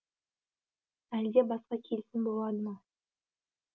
әлде басқа келісім болады ма